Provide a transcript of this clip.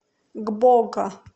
гбоко